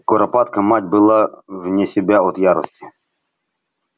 куропатка мать была вне себя от ярости